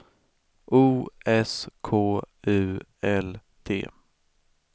O S K U L D